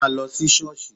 Má lọ sí ṣọ́ọ̀ṣì!